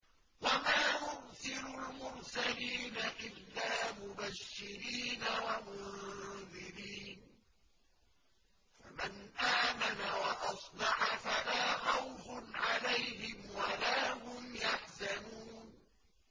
وَمَا نُرْسِلُ الْمُرْسَلِينَ إِلَّا مُبَشِّرِينَ وَمُنذِرِينَ ۖ فَمَنْ آمَنَ وَأَصْلَحَ فَلَا خَوْفٌ عَلَيْهِمْ وَلَا هُمْ يَحْزَنُونَ